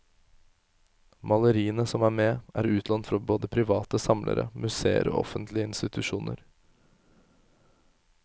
Maleriene som er med, er utlånt fra både private samlere, museer og offentlige institusjoner.